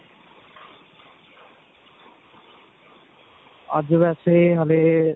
ਅੱਜ ਵੈਸੇ ਹੱਲੇ.